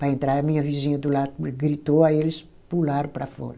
Para entrar, a minha vizinha do lado gritou, aí eles pularam para fora.